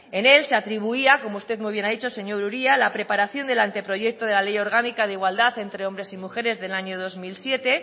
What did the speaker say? en él se atribuía como usted muy bien ha dicho señor uria la preparación del anteproyecto de la ley orgánica de igualdad entre hombres y mujeres del año dos mil siete